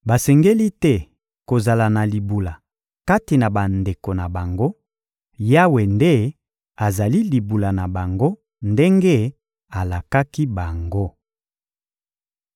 Basengeli te kozala na libula kati na bandeko na bango; Yawe nde azali libula na bango ndenge alakaki bango.